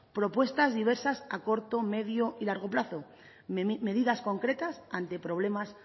propuestas diversas a corto medio y largo plazo medidas concretas ante problemas